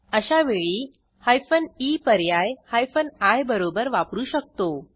अशा वेळी hyphen E पर्याय हायफेन आय बरोबर वापरू शकतो